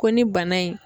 Ko ni bana in